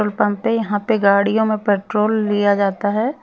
Petrol pump है यहां पे गाड़ियों में पेट्रोल लिया जाता है।